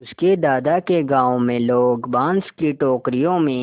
उसके दादा के गाँव में लोग बाँस की टोकरियों में